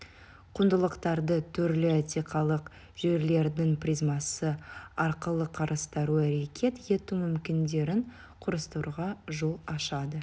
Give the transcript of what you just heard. құндылықтарды түрлі этикалық жүйелердің призмасы арқылы қарастыру әрекет ету мүмкіндіктерін құрастыруға жол ашады